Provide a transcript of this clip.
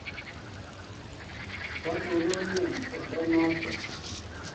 Kwatonone olda notok